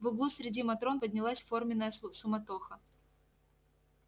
в углу среди матрон поднялась форменная суматоха